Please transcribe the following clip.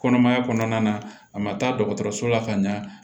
Kɔnɔmaya kɔnɔna a ma taa dɔgɔtɔrɔso la ka ɲa